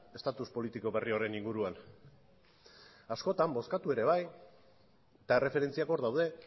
estatus politiko berri horren inguruan askotan bozkatu ere bai eta erreferentziak hor daude